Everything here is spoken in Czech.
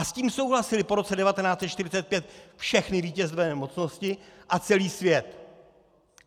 A s tím souhlasily po roce 1945 všechny vítězné mocnosti a celý svět.